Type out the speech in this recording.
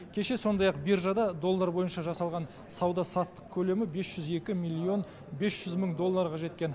кеше сондай ақ биржада доллар бойынша жасалған сауда саттық көлемі бес жүз екі миллион бес жүз мың долларға жеткен